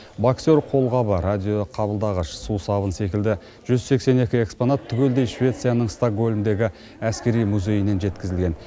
боксер қолғабы радиоқабылдағыш сусабын секілді жүз сексен екі экспонат түгелдей швецияның стокгольмдегі әскери музейінен жеткізілген